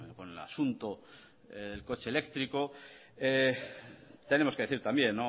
con el asunto del coche eléctrico tenemos que decir también